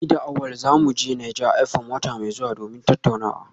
Ni da Awal za mu je Naija FM wata mai zuwa domin tattaunawa